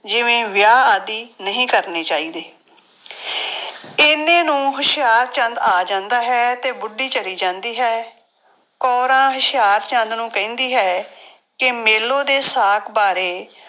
ਜਿਵੇਂ ਵਿਆਹ ਆਦਿ ਨਹੀਂ ਕਰਨੇ ਚਾਹੀਦੇ ਇੰਨੇ ਨੂੰ ਹੁਸ਼ਿਆਰਚੰਦ ਆ ਜਾਂਦਾ ਹੈ ਤੇ ਬੁੱਢੀ ਚਲੀ ਜਾਂਦੀ ਹੈ, ਕੋਰਾਂ ਹੁਸ਼ਿਆਰਚੰਦ ਨੂੰ ਕਹਿੰਦੀ ਹੈ ਕਿ ਮੇਲੋ ਦੇ ਸਾਕ ਬਾਰੇ